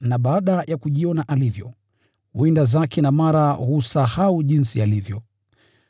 na baada ya kujiona alivyo, huenda zake na mara husahau jinsi alivyo.